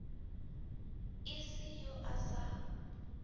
e se yo a sa